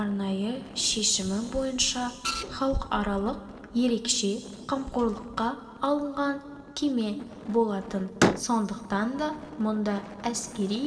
арнайы шешімі бойынша халықаралық ерекше қамқорлыққа алынған кеме болатын сондықтан да мұнда әскери